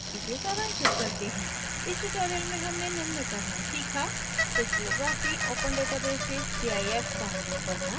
इसे सारांशित करते हैं इस tutorial में हमने निम्न करना सीखा: crystallography open database से cif download करना